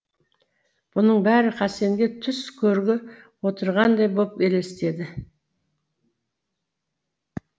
бұның бәрі хасенге түс көрігі отырғандай боп елестеді